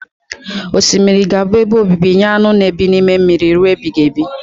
Osimiri ga-abụ ebe obibi nye aṅụ na ebi n'ime mmiri rue ebighibi